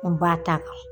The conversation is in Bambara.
N ba ta kɛ